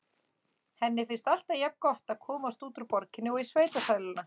Henni finnst alltaf jafngott að komast út úr borginni og í sveitasæluna.